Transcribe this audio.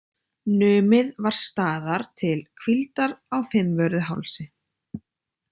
Numið var staðar til hvíldar á Fimmvörðuhálsi.